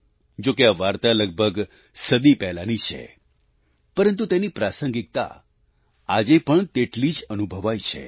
જો કે આ વાર્તા લગભગ સદી પહેલાંની છે પરંતુ તેની પ્રાંસગિકતા આજે પણ તેટલી જ અનુભવાય છે